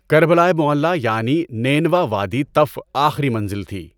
کربلائے معلی یعنی نینوا وادی طَفّ آخری منزل تھی۔